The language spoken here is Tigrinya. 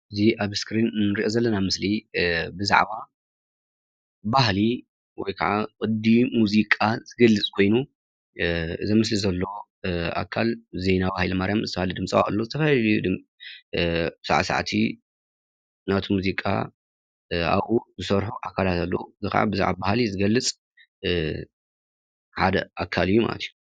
እዚ አብ እስክሪን እንሪኦ ዘለና ምስሊ ብዛዕባ ባህሊ ወይ ከዓ ቅዲ ሙዚቃ ዝገልፅ ኮይኑ፤ እዚ ምስሊ ዘለዎ አካል ዜናዊ ሃይለማርያም ዝተፈላለየ ድምፃዊ አለዎ፡፡ ዝተፈላለዩ ሳዕሳዕቲ ናቱ ሙዚቃ አብኡ ዝሰርሑ አካላት አለው፡፡ እዚ ከዓ ብዛዕባ ባህሊ ዝገልፅ ሓደ አካል እዩ ማለት እዩ፡፡